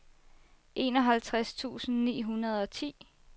enoghalvtreds tusind ni hundrede og ti